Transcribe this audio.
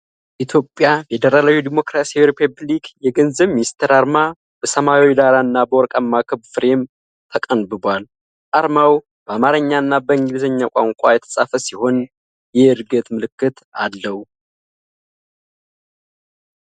የኢትዮጵያ ፌደራል ዴሞክራሲያዊ ሪፐብሊክ የገንዘብ ሚኒስቴር አርማ በሰማያዊ ዳራና በወርቃማ ክብ ፍሬም ተቀንብቧል። አርማው በአማርኛና በእንግሊዘኛ ቋንቋ የተፃፈ ሲሆን፣ የዕድገት ምልክት አለው።